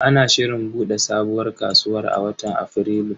Ana shirin bude sabuwar kasuwar a watan Afrilu.